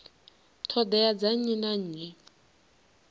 ṱhoḓea dza nnyi na nnyi